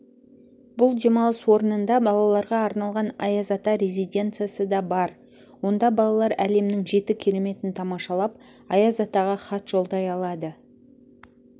бұл демалыс орнында балаларға арналған аяз ата резиденциясы да бар онда балалар әлемнің жеті кереметін тамашалап аяз атаға хат жолдай алады